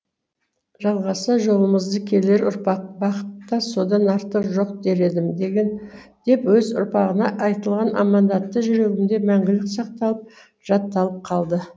жалғаса жолымызды келер ұрпақ бақыт та содан артық жоқ дер едім деп өз ұрпағына айтылған аманаты жүрегімде мәңгілік сақталып жатталып қалды